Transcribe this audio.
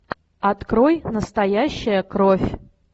открой настоящая кровь